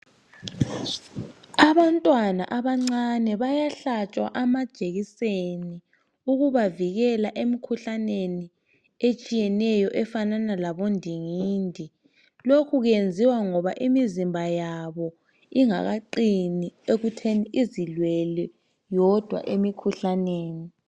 Abantwana abancane bayahlatshwa amajekiseni ukubavikela emikhuhlaneni etshiyeneyo efanana labondingindi. Lokhu kwenziwa ngoba imizimba yabo ingakaqini ekutheni izilwele yodwa emikhuhlaneni.